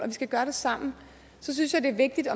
vi skal gøre det sammen og så synes jeg det er vigtigt